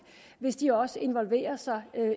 hvis de også involverer sig